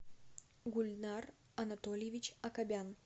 гульнар анатольевич акобян